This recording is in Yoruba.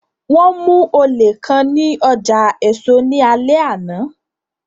Wọn mu ole kan ni ọja eso ni alẹ ana